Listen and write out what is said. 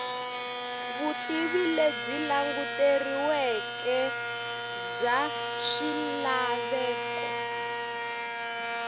vutivi lebyi languteriweke bya swilaveko